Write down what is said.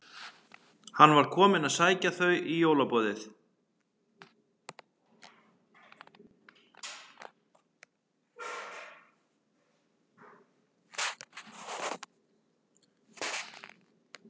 Hann var kominn að sækja þau í jólaboðið.